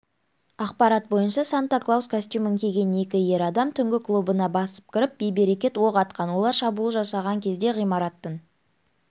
ақпарат бойынша санта клаус костюмін киген екі ер адам түнгі клубына басып кіріп бейберекет оқ атқан олар шабуыл жасаған кезде ғимараттың